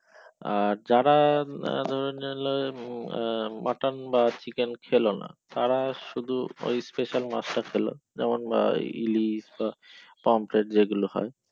আর যারা mutton বা chicken খেলনা তারা ওই শুধু special মাছটা খেলো যেমন বা ইলিশ বা পোমপ্লেট